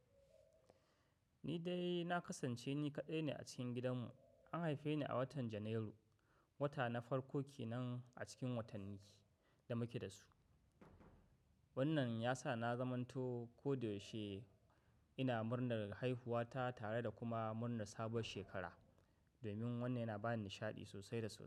Ni dai na kasance ni kaɗai ne a cikin gidanmu. An haife ni a watan Janairu, wata na farko ke nan, a cikin watanni da muke da su. Wannan ya sa na zamanto ko da yaushe ina murnar haihuwa ta, tare da kuma murnar sabuwar shekara. Domin, wannan yana ba ni nishaɗi sosai da sosai.